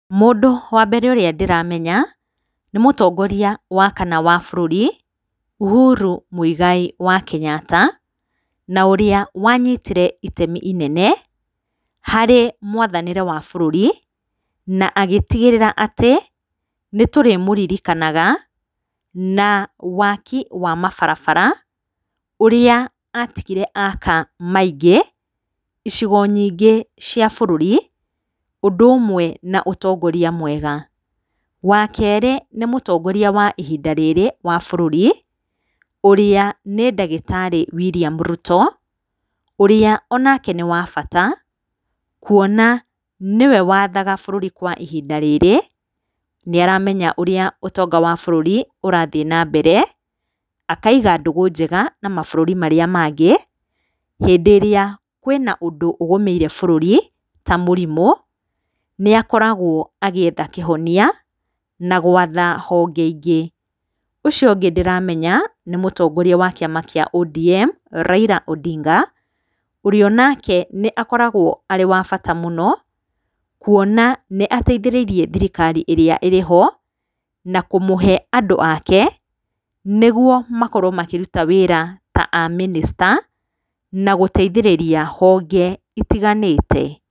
Mũndũ wa mbere ũrĩa ndĩramenya nĩ mũtongoria wa kana wa bũrũri, Ũhuru Mũigai wa Kenyatta na ũrĩa wanyitire itemi rĩnene harĩ mwathanĩre wa bũrũri na agĩtigĩrĩra atĩ nĩ tũrĩmũririkanaga na waki wa mabarabara ũrĩa atigire aka maingĩ icigo nyingĩ cia bũrũri ũndũ ũmwe na ũtongoria mwega. Wa kerĩ, nĩ mũtongoria wa ihinda rĩrĩ wa bũrũri, ũrĩa nĩ ndagĩtarĩ William Ruto, ũrĩa o nake nĩ wa bata kuona nĩwe wathaga bũrũri kwa ihinda rĩrĩ, nĩ aramenya ũrĩa ũtonga wa bũrũri urathiĩ na mbere, akaiga ndũgũ njega na mabũrũri marĩa mangĩ hĩndĩ ĩrĩa kwĩna ũndũ ũgũmĩire bũrũri ta mũrimũ, nĩ akoragwo agĩetha kĩhonia na gwatha honge ingĩ. Ũcio ũngĩ ndĩramenya nĩ mũtongoria wa Kĩama kĩa ODM, Raila Ondinga ũrĩa o nake nĩ akoragwo arĩ wa bata mũno, kuona nĩ ateithĩrĩirie thirikari ĩrĩa ĩrĩ ho na kũmũhe andũ ake, nĩguo makorwo makĩruta wĩra ta amĩnĩcita na gũteithĩrĩria honge itiganĩte.